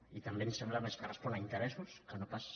i també ens sembla més que respon a interessos que no pas